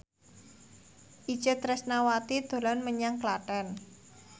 Itje Tresnawati dolan menyang Klaten